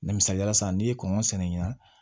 Misaliyala sisan n'i ye kɔngɔ sɛnɛ yan